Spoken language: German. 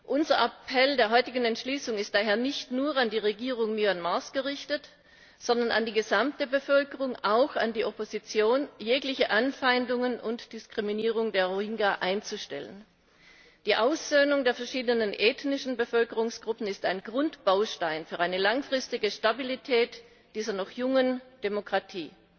Unser Appell der heutigen Entschließung ist daher nicht nur an die Regierung Myanmars gerichtet, sondern an die gesamte Bevölkerung, auch an die Opposition, jegliche Anfeindungen und Diskriminierung der Rohingya einzustellen. Die Aussöhnung der verschiedenen ethnischen Bevölkerungsgruppen ist ein Grundbaustein für eine langfristige Stabilität dieser noch jungen Demokratie.